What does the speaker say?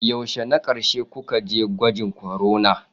Yaushe na ƙarshe kuka je gwajin corona?